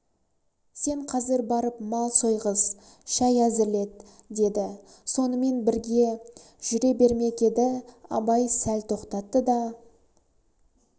сен қазір барып мал сойғыз шай әзірлет деді сонымен жүре бермек еді абай сәл тоқтатты да